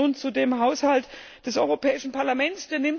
Nun zum Haushalt des Europäischen Parlaments